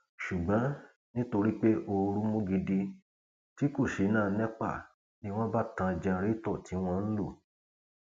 ṣùgbọn nítorí pé ooru mú gidi tí kò ṣínà ń epa ni wọn bá tan jẹrántó tí wọn ń lò